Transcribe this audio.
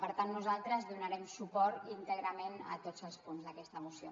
per tant nosaltres donarem suport íntegrament a tots els punts d’aquesta moció